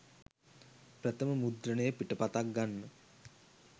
ප්‍රථම මුද්‍රණය පිටපතක් ගන්න